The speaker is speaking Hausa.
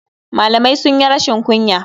Malamai sunyi rashin kunya.